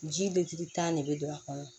Ji beri tan de be don a kɔnɔ